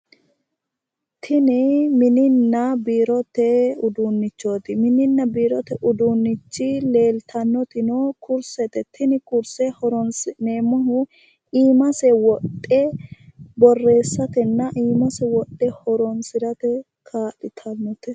Tini mininna biirote uduunnichooti mininna biirote uduunnichi leeltannotino kursete. Tini kurse horoonsi'neemmohu iimase wodhe borreessatenna iimase wodhe horoonsiirate kaa'litate.